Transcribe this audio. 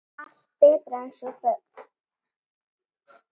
Allt betra en sú þögn.